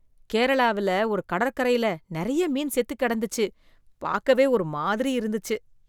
கேரளாவில ஒரு கடற்கரையில நெறைய மீன் செத்து கிடந்துச்சு, பாக்கவே ஒரு மாதிரி இருந்துச்சு.